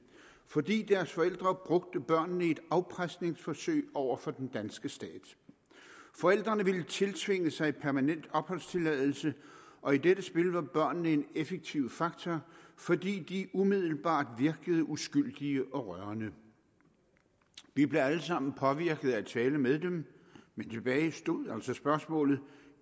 fordi deres forældre brugte børnene i et afpresningsforsøg over for den danske stat forældrene ville tiltvinge sig permanent opholdstilladelse og i dette spil var børnene en effektiv faktor fordi de umiddelbart virkede uskyldige og rørende vi blev alle sammen påvirket af at tale med dem men tilbage stod altså spørgsmålet om